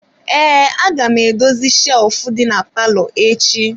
Ee, aga m edozi shelf dị na palọ echi.